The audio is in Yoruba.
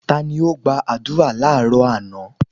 Ta ni ó gba àdúrà láàrọ́ àná?